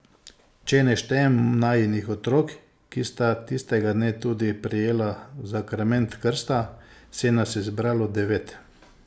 Če ne štejem najinih otrok, ki sta tistega dne tudi prejela zakrament krsta, se nas je zbralo devet.